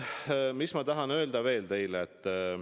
Mis ma tahan teile veel öelda?